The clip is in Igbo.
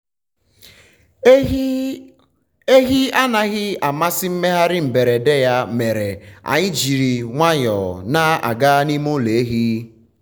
ehi anaghị amasị mmegharị mberede ya mere anyị ji nwayọọ na-aga n’ime ụlọ ehi. um